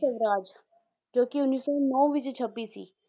ਸਵਰਾਜ ਜੋ ਕਿ ਉੱਨੀ ਸੌ ਨੋਂ ਵਿੱਚ ਛਪੀ ਸੀ